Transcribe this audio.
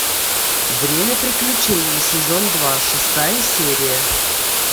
время приключений сезон два шестая серия